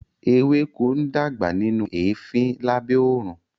Ewéko ń dàgbà nínú eefin lábẹ́ oòrùn